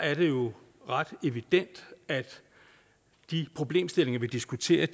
er det jo ret evident at de problemstillinger vi diskuterer